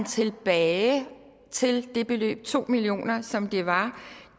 tilbage til det beløb nemlig to million kr som det var